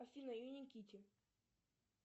афина юникитти